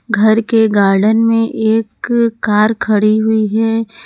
घर के गार्डन में एक कार खड़ी हुई है।